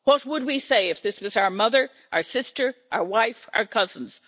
What would we say if this was our mother, our sister, our wife, our cousins?